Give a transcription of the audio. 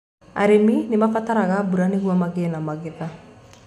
Arĩmi nĩ maabataraga mbura nĩguo magĩe na magetha.